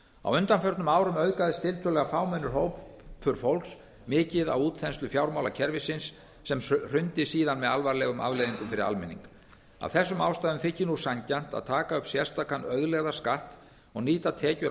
á undanförnum árum auðgaðist tiltölulega fámennur hópur fólks mikið á útþenslu fjármálakerfisins sem hrundi síðan með alvarlegum afleiðingum fyrir almenning af þessum ástæðum þykir nú sanngjarnt að taka upp sérstakan auðlegðarskatt og nýta tekjur af